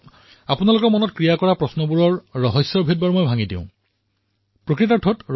বহু লোকৰ মনত এই প্ৰশ্ন উত্থাপিত হৈছে বাবে এই ৰহস্য মই ফাদিল কৰিব বিচাৰিছো